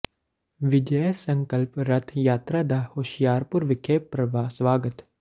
ਵਿਜੈ ਸੰਕਲਪ ਰੱਥ ਯਾਤਰਾ ਦਾ ਹੁਸ਼ਿਆਰਪੁਰ ਵਿਖੇ ਭਰਵਾਂ ਸਵਾਗਤ